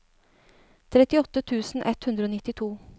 trettiåtte tusen ett hundre og nittito